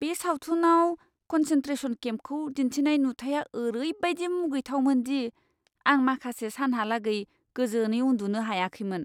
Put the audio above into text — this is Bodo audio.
बे सावथुनाव कन्सेन्ट्रेशन केम्पखौ दिन्थिनाय नुथाइया ओरैबादि मुगैथावमोन दि आं माखासे सानहालागै गोजोनै उन्दुनो हायाखैमोन!